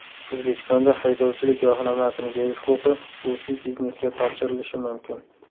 O‘zbekistonda haydovchilik guvohnomasini berish huquqi xususiy biznesga topshirilishi mumkin.